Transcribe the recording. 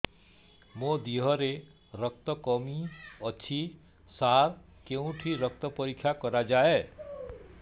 ମୋ ଦିହରେ ରକ୍ତ କମି ଅଛି ସାର କେଉଁଠି ରକ୍ତ ପରୀକ୍ଷା କରାଯାଏ